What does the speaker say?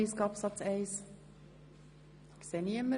– Dies ist nicht der Fall.